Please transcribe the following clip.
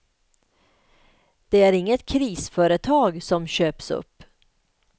Det är inget krisföretag som köps upp.